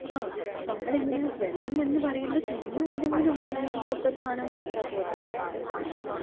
ങാ, നമ്മളിങ്ങനെ വെള്ളം എന്നു പറയുമ്പോൾ ചുമ്മാ എന്തെങ്കിലും ഒന്ന് വെള്ളം പോൽത്തൊരു സാനം കൊടുത്താ പോരല്ലോ. നല്ല വൃത്തിയായിട്ട് വേണ്ടേ?